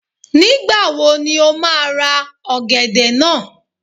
Nígbàwo ni o má a ra ọ̀gẹ̀dẹ̀ náà?